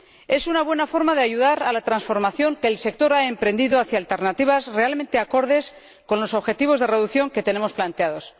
Es una buena forma de ayudar a la transformación que el sector ha emprendido hacia alternativas realmente acordes con los objetivos de reducción que tenemos planteados.